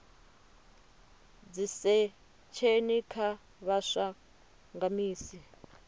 dzisesheni kha vhaswa nga misi